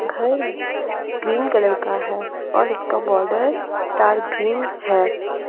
घर green colour का है और इसका बॉर्डर डार्क ग्रीन है।